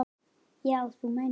Já, þú meinar.